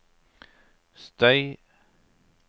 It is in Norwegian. støy